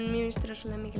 ekki